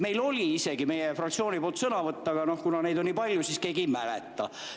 Meil oli isegi meie fraktsiooni nimel sõnavõtt, aga kuna neid on nii palju, siis keegi neid ei mäleta.